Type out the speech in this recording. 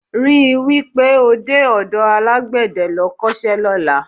Rí i wí pé o dé ọ̀dọ alágbẹ̀dẹ́ lọ kọ́ṣẹ́ lọ́la